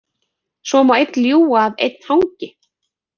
Svo má einn ljúga að einn hangi.